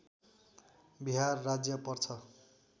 बिहार राज्य पर्छ